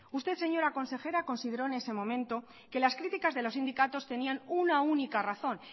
usted señora consejera consideró en ese momento que las críticas de los sindicatos tenían una única razón